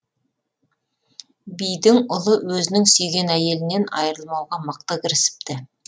бидің ұлы өзінің сүйген әйелінен айырылмауға мықты кірісіпті